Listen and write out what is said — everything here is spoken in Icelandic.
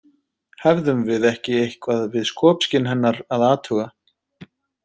Hefðum við ekki eitthvað við skopskyn hennar að athuga?